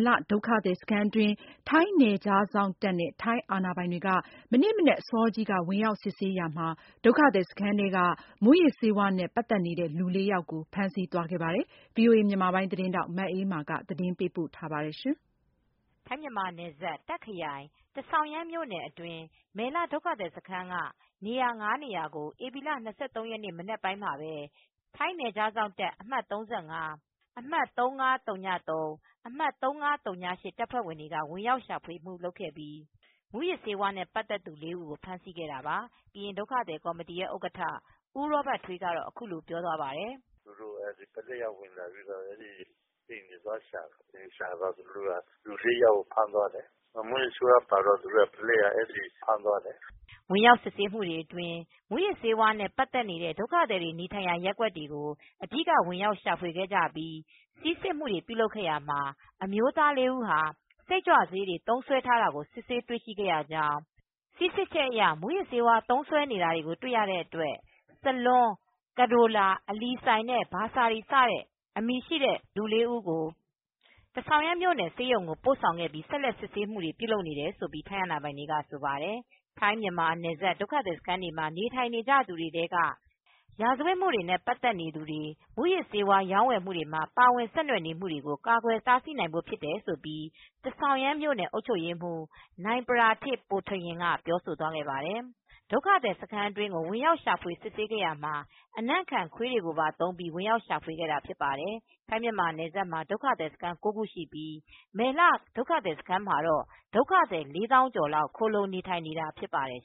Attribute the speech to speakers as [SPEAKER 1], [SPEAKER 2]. [SPEAKER 1] လ ဒုက္ခသည်စခန်း အတွင်းကို ထိုင်းနယ်ခြားစောင့်တပ် နဲ့ ထိုင်းအာဏာပိုင်များက ဧပြီလ ၂၃ရက်နေ့ မနက် အစောကြီးမှာ ဝင်ရောက်စစ်ဆေးပြီးတဲ့နောက ်ဒုက္ခသည်စခန်းတွင်းက မူးယစ်ဆေးဝါးနဲ့ ပတ်သက်နေသူ လူ ၄ယောက်ကို ဖမ်းဆီးသွားခဲ့တယ်လို့ ကရင်ဒုက္ခသည်ကော်မတီက ဆိုပါတယ်။ ထိုင်းအခြေစိုက် VOA မြန်မာပိုင်းသတင်းထောက် မအေးအေးမာက သတင်းပေးပို့ ထားပါတယ်။
[SPEAKER 2] ထိုင်း-မြန်မာနယ်စပ် တာခ်ခရိုင် ထဆောင်ရန်မြို့နယ် အတွင်းက မယ်လ ဒုက္ခသည်စခန်း က နေရာ နေရာ ကို ဧပြီလ ၂၃ရက်နေ့ မနက်အစောပိုင်းမှာပဲ ထိုင်းနယ်ခြားစောင့်တပ် အမှတ် ၃၅- အမှတ် ၃၅၀၃- အမှတ်၃၅၀၈ တပ်ဖွဲ့တွေက ဝင်ရောက်ရှာဖွေ မူလုပ်ခဲ့ပြီး မူးယစ်ဆေးဝါးနဲ့ ပတ်သက်သူ ၄ ဦးကို ဖမ်းဆီးခဲ့တာပါ ။ ကရင်ဒုက္ခသည်ကော်မတီရဲ့ဥက္ကဌ ဦးရောဘတ်ထွေးကတော့ အခုလိုပြောသွားပါတယ်။
[SPEAKER 3] “သူတို့ ပုလိပ်ကဝင်လာပြီး အိမ်မှာသွားရှာတယ် နောက်သူတို့က လူ၄ယောက်ကို ဖမ်းသွားတယ်။ မူးယစ်ဆေးဝါးပါတော့ အဲဒီ ပုလိပ်က ဖမ်းသွားတယ်။
[SPEAKER 2] ” ဝင်ရောက်စစ်ဆေးမှုတွေအတွင်း မူးယစ်ဆေးတွေနဲ့ ပတ်သက်နေတဲ့ ဒုက္ခသည်တွေ နေထိုင်ရာ ရပ်ကွက်တွေကို အဓိက ဝင်ရောက်ရှာဖွေခဲ့ကြပြီး ဆီးစစ်မှု တွေပြုလုပ်ခဲ့ရာမှာ အမျိုးသားလေးဦးဟာ စိတ်ကြွဆေးတွေ သုံးစွဲထားတာကို စစ်ဆေးတွေ့ရှိရကြောင်း ၊ ဆီးစစ်ချက်အရ မူးယစ်ဆေးသုံးစွဲနေတာ တွေ့ရတဲ့ စလွန်း-ကဒိုလာ-အလီစိုင်နဲ့ ဘာဆာရီစတဲ့ အမည်ရှိတဲ့ လူ၄ဦးကို ထဆောင်ရန် မြို့ ဆေးရုံကို ပို့ဆောင်ပြီး ဆက်လက် စစ်ဆေးမှုတွေ ပြုလုပ်နေတယ်လို့ ထိုင်းအာဏာပိုင်တွေက ဆိုပါတယ် ။ ထိုင်းမြန်မာနယ်စပ် ဒုက္ခသည်စခန်းတွေမှာ နေထိုင်နေကြသူတွေ ထဲက ရာဇဝတ်မှုတွေနဲ့ ပတ်သက်မူတွေ မူးယစ်ဆေး ဝါးရောင်းဝယ်မှုတွေမှာ ပါဝင် ဆက်နွယ်နေမူတွေကို ကာကွယ်တားဆီးနိုင်ဖို့ ဖြစ်တယ်လို့ ထဆောင်ရန် အုပ်ချုပ်ရေးမှူး နိုင်ပရာထစ် ပိုထရင် က ပြောဆိုသွားပါတယ်။ ဒုက္ခသည်စခန်းထဲကို ဝင်ရောက်ရှာဖွေစစ်ဆေးရာမှာ အနံ့ခံခွေးတွေပါ သုံးပြီး ဝင်ရောက် ရှာဖွေခဲ့တာဖြစ်ပါတယ်။ထိုင်း-မြန်မာနယ်စပ်မှာ ဒုက္ခသည်စခန်း ၉ခုရှိ ပြီး မယ်လဒုက္ခသည်စခန်း မှာတော့ ဒုက္ခသည် ၄သောင်းကျော်လောက် ခိုလုံနေထိုင်နေတာဖြစ်ပါတယ်